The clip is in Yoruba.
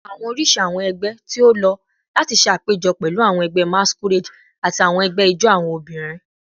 Awọn oriṣi awọn ẹgbẹ ti o lo lati ṣe apejọ pẹlu awọn ẹgbẹ masquerade ati awọn ẹgbẹ ijó awọn obinrin